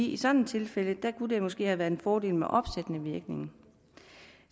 i sådan et tilfælde kunne det måske have været en fordel med opsættende virkning